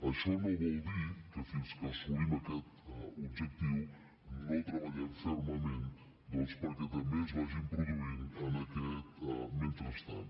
això no vol dir que fins que assolim aquest objectiu no treballem fermament doncs perquè també es vagin produint en aquest mentrestant